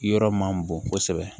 Yɔrɔ man bon kosɛbɛ